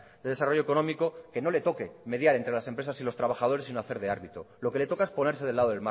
de desarrollo económico que no le toque mediar entre las empresas y los trabajadores sino hacer de árbitro lo que le toca es ponerse del lado